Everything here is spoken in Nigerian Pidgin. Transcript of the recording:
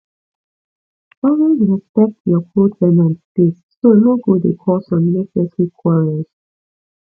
always respect your co ten ant space so no go dey cause unnecessary quarrels